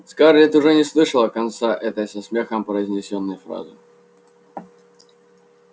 скарлетт уже не слышала конца этой со смехом произнесённой фразы